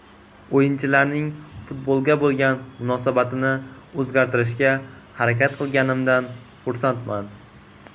O‘yinchilarning futbolga bo‘lgan munosabatini o‘zgartirishga harakat qilganimdan xursandman.